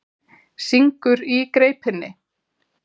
Syngur í greipinni.